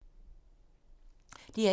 DR1